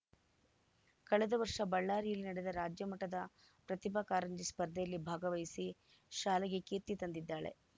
ಕಳೆದ ವರ್ಷ ಬಳ್ಳಾರಿಯಲ್ಲಿ ನಡೆದ ರಾಜ್ಯಮಟ್ಟದ ಪ್ರತಿಭಾ ಕಾರಂಜಿ ಸ್ಪರ್ಧೆಯಲ್ಲಿ ಭಾಗವಹಿಸಿ ಶಾಲೆಗೆ ಕೀರ್ತಿ ತಂದಿದ್ದಾಳೆ